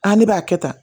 ne b'a kɛ tan